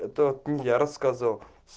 это не я рассказывал